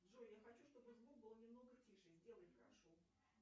джой я хочу чтобы звук был немного тише сделай прошу